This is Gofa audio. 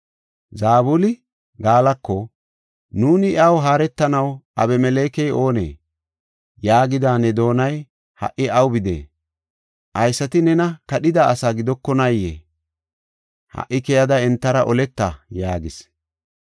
Zabuli Gaalako, “ ‘Nuuni iyaw haaretanaw Abimelekey oonee?’ yaagida ne doonay ha77i aw bidee? Haysati neeni kadhida asaa gidokonaayee? Ha77i keyada entara oleta” yaagis.